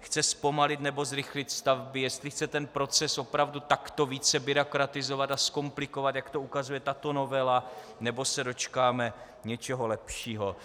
chce zpomalit, nebo zrychlit stavby, jestli chce ten proces opravdu takto více byrokratizovat a zkomplikovat, jak to ukazuje tato novela, nebo se dočkáme něčeho lepšího.